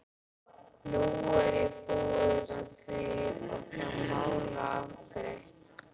Nú er ég búinn að því og það mál afgreitt.